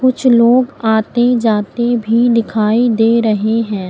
कुछ लोग आते जाते भी दिखाई दे रहे हैं।